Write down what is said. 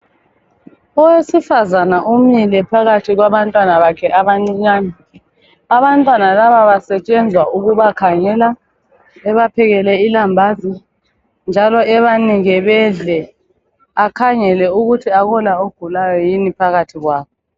Owesifazane umile phakathi kwabantwana bakhe abancinyane. Abantwana laba basetshenzwa ukubakhangela, ebaphekele ilambazi njalo ebanike bedle. Akhangele ukuthi akula ogulayo yini phakathi kwabo.